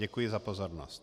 Děkuji za pozornost.